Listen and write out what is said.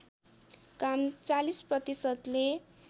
काम ४० प्रतिशतले